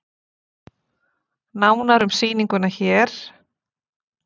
Nánar um sýninguna hér